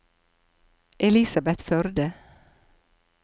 Elisabeth Førde